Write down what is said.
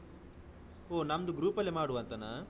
ಒಹ್ ನಮ್ದು ಗ್ರೂಪ್ ಅಲ್ಲಿ ಮಾಡುವಂತನಾ?